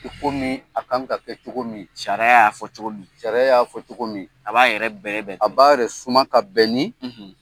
I komi a kaan ka kɛ cogo min. Sariya y'a fɔ cogo min. Sariya y'a fɔ cogo min. A b'a yɛrɛ bɛrɛ bɛn. A b'a yɛrɛ suman ka bɛn ni